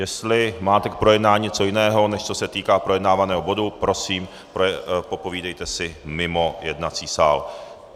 Jestli máte k projednání něco jiného, než co se týká projednávaného bodu, prosím popovídejte si mimo jednací sál.